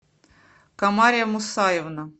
комария мусаевна